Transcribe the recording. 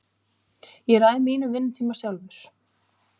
Ég ræð mínum vinnutíma sjálfur.